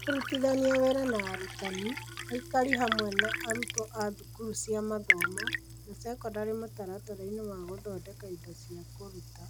Kũrutithania wĩra na arutani, aikari hamwe na arutwo a thukuru cia mathomo na sekondarĩ mũtaratara-inĩ wa gũthondeka indo cia kũruta,